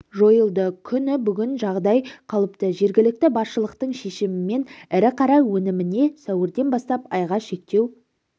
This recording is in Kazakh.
жойылды күні бүгін жағдай қалыпты жергілікті басшылықтың шешімімен ірі қара өніміне сәуірден бастап айға шектеу